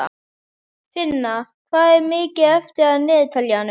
Finna, hvað er mikið eftir af niðurteljaranum?